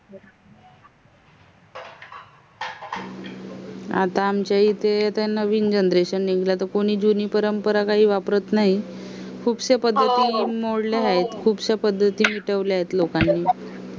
आता आमच्या येथे नविंण generation निंगल जुनी परंपरा काही वापरत नाही. खुपशा पद्धती मोडला आहे. खुपशा पद्धती ठेवला आहेत लोकांनी